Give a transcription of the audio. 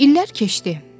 İllər keçdi.